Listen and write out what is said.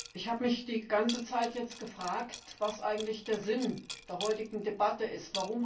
Ich habe mich die ganze Zeit gefragt, was eigentlich der Sinn der heutigen Debatte ist.